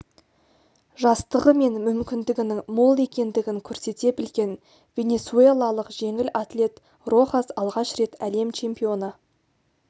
жастығы мен мүмкіндігінің мол екендігін көрсете білген венесуэлалық жеңіл атлет рохас алғаш рет әлем чемпионы